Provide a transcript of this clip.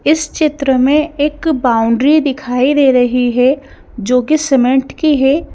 इस चित्र में एक बाउंड्री दिखाई दे रही है जो कि सीमेंट की है।